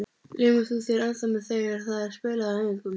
Laumar þú þér ennþá með þegar það er spilað á æfingum?